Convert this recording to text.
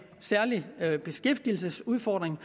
særlig beskæftigelsesudfordring